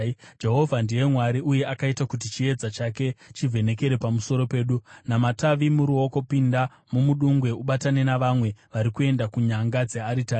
Jehovha ndiye Mwari, uye akaita kuti chiedza chake chivhenekere pamusoro pedu. Namatavi muruoko, pinda mumudungwe ubatane navamwe vari kuenda kunyanga dzearitari.